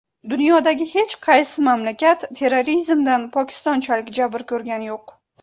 Dunyodagi hech qaysi mamlakat terrorizmdan Pokistonchalik jabr ko‘rgani yo‘q.